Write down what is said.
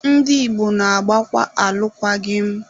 Ndị Igbo na-agbakwa alụkwaghị m